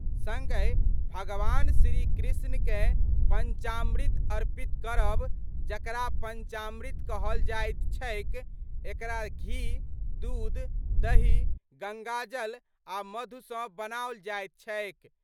संगहि भगवान श्री कृष्ण कए पंचामृत अर्पित करब जकरा पंचामृत कहल जाइत छैक, एकरा घी, दुध, दही, गंगाजल आ मधु सँ बनाओल जाइत छैक।